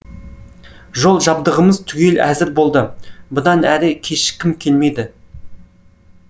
жол жабдығымыз түгел әзір болды бұдан әрі кешіккім келмеді